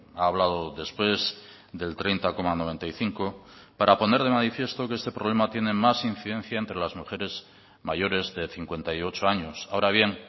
ha hablado después del treinta coma noventa y cinco para poner de manifiesto que este problema tiene más incidencia entre las mujeres mayores de cincuenta y ocho años ahora bien